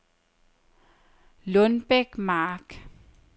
Lundbæk Mark